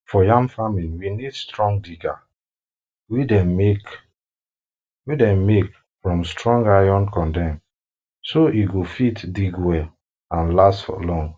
for yam farming we need strong digger wey dem make from strong iron condem so e go fit dig well and last for long